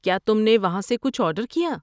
کیا تم نے وہاں سے کچھ آرڈر کیا؟